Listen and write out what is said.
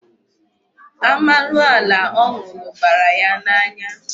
Amarula ọ nụrụ bara ya n'anya.